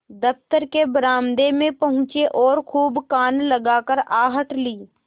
दफ्तर के बरामदे में पहुँचे और खूब कान लगाकर आहट ली